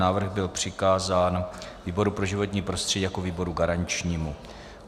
Návrh byl přikázán výboru pro životní prostředí jako výboru garančnímu